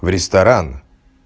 в ресторан